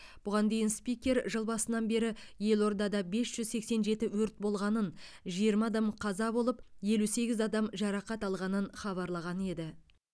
бұған дейін спикер жыл басынан бері елордада бес жүз сексен жеті өрт болғанын жиырма адам қаза болып елу сегіз адам жарақат алғанын хабарлаған еді